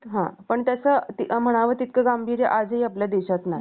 पण त्याचं म्हणावं तितकं गांभीर्य आजही आपल्या देशात नाही